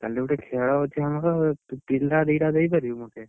କାଲିଗୋଟେ ଖେଳ ଅଛି ଆମର ତୁ ପିଲା ଦିଟା ଦେଇପାରିବୁ ମୋତେ?